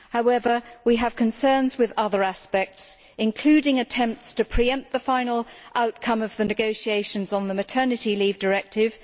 However, we have concerns with other aspects, including attempts to pre empt the final outcome of the negotiations on the Maternity Leave Directive